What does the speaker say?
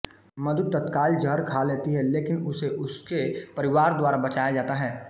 मधु तत्काल जहर खा लेती है लेकिन उसे उसके परिवार द्वारा बचाया जाता है